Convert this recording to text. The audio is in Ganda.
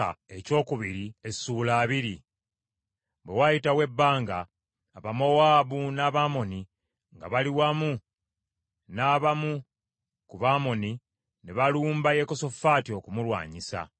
Bwe wayitawo ebbanga, Abamowaabu n’Abamoni nga bali wamu n’abamu ku Bamoni ne balumba Yekosafaati okumulwanyisa.